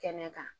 Kɛnɛ kan